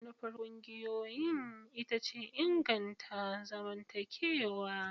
Manufar ƙungiyoyi ita ce inganta zamantakewa.